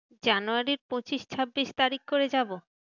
জানুয়ারীর পঁচিশ ছাব্বিশ তারিখ করে যাবো।